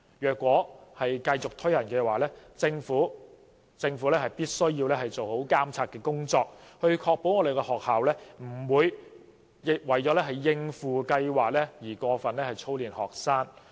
如果繼續推行，政府必須做好監察工作，以確保學校不會為了應付計劃而過分操練學生。